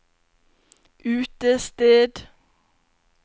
utested